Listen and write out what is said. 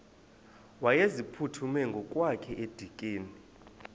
wayeziphuthume ngokwakhe edikeni